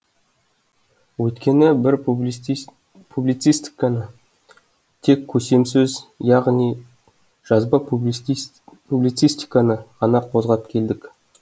өйткені біз публицистиканы тек көсемсөз деп яғни жазба публицистиканы ғана қозғап келдік